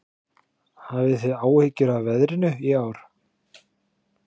Hafið þið áhyggjur af veðrinu í ár?